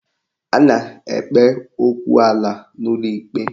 A na-ekpe okwu ala n'ụlọ ikpe